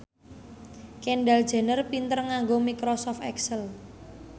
Kendall Jenner pinter nganggo microsoft excel